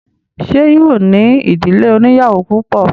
Ṣé yóò ní ìdílé oníyàwó púpọ̀?